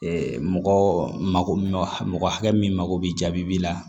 mɔgɔ mako hakɛ min mago bɛ jaabi la